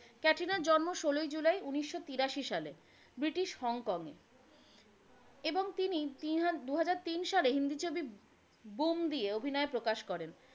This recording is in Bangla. ক্যাটরিনার জন্ম ষোলোই জুলাই উনিশশো তিরাশি সালে ব্রিটিশ হংকং এ এবং তিনি দুহাজার তিন সালে হিন্দি ছবি বুম দিয়ে অভিনয়ে প্রকাশ করেন।